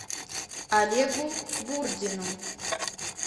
олегу бурдину